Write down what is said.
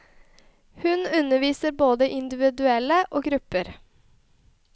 Hun underviser både individuelle og grupper.